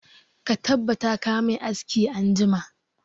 Ka tabbata ka mai aski anjima!